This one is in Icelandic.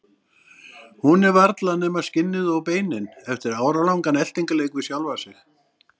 Hún er varla nema skinnið og beinin eftir áralangan eltingarleik við sjálfa sig.